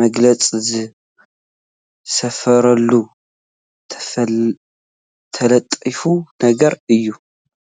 መግለፂ ዝሰፈረሉ ተለጣፊ ነገር እዩ፡፡